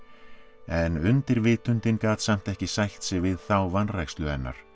en gat samt ekki sætt sig við þá vanrækslu hennar